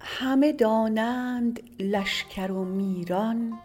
همه دانند لشکر و میران